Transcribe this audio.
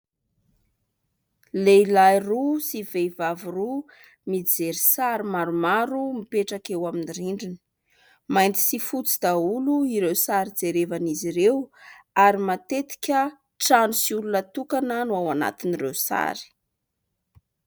Lehilahy roa sy vehivavy roa mijery sary maromaro mipetraka eo amin'ny rindrina. Mainty sy fotsy daholo ireo sary jerevan'izy ireo ary matetika trano sy olona tokana no ao anatin'ireo sary.